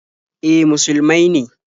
E, auren musulmai ne.